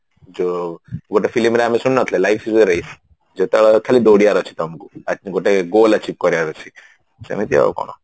ଯଉ ଗୋଟେ film ରେ ଆମେ ଶୁଣିନଥିଲେ life is a race ଯେ ତ ଖାଲି ଦୌଡିବାର ଅଛି ତମକୁ ଆ ଗୋଟେ goal archive କରିବାର ଅଛି ସେମିତି ଆଉ କଣ